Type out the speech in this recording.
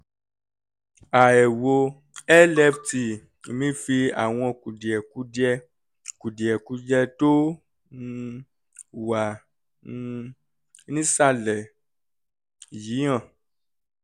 àẹ̀wò lft mi fi àwọn kùdìẹ̀kudiẹ kùdìẹ̀kudiẹ tó um wà um nísàlẹ̀ yìí hàn